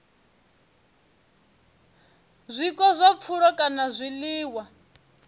zwiko zwa pfulo kana zwiḽiwa